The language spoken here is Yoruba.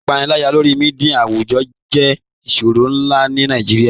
Ipànìlàyà lórí mídia àwùjọ̀ jẹ̀ ìṣòrọ̀ nlá ní Nàìjíríà.